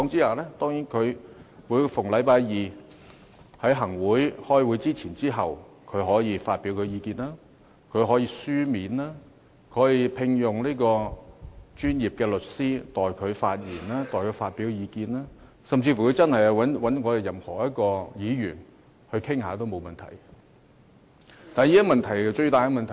舉例而言，他可以逢星期二在行政會議開會前或開會後發表意見；他可以書面發表意見；他可以聘用專業律師代他發言或發表意見；他甚至可以找我們任何一位議員傾談，這沒有問題。